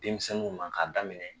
Denmisɛnnu na k'a daminɛ